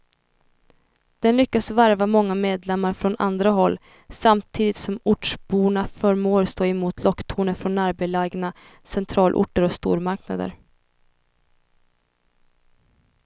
Den lyckas värva många medlemmar från andra håll, samtidigt som ortsborna förmår stå emot locktoner från närbelägna centralorter och stormarknader.